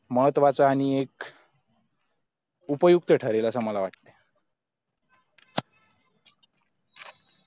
महत्वाचं आणि एक उपयुक्त ठरेल असा मला वाटतं